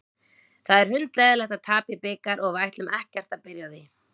Það er hundleiðinlegt að tapa í bikar og við ætlum ekkert að byrja á því.